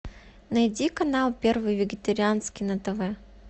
найди канал первый вегетарианский на тв